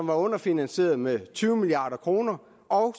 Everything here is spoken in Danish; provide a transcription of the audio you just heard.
var underfinansieret med tyve milliard kr og